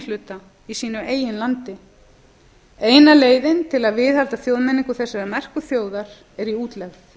hluta í sínu eigin landi eina leiðin til að viðhalda þjóðmenningu þessarar merku þjóðar er í útlegð